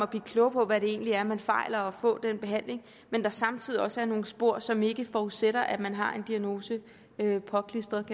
blive klogere på hvad det egentlig er man fejler og få behandling men samtidig også i nogle spor som ikke forudsætter at man har en diagnose påklistret